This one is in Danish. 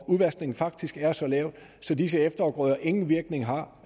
udvaskningen faktisk er så lav at disse efterafgrøder ingen virkning har